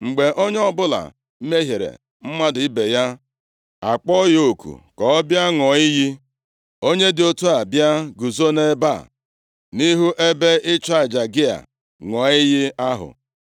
“Mgbe onye ọbụla mehiere mmadụ ibe ya, a kpọọ ya oku ka ọ bịa ṅụọ iyi, onye dị otu a bịa guzo nʼebe a, nʼihu ebe ịchụ aja gị a, ṅụọ iyi ahụ,